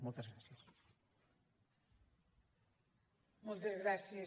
moltes gràcies